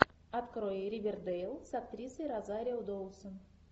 открой ривердейл с актрисой розарио доусон